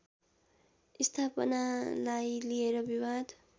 स्थापनालाई लिएर विवाद